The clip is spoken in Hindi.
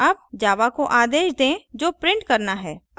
अब java को आदेश दें जो print करना है